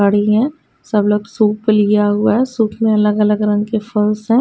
खड़ी है सब लोग सूप लिया हुआ है सूप मे अलग अलग रंग के फल्स है।